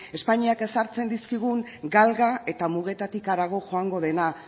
espainiak ezartzen dizkigun galga eta mugetatik harago joango dena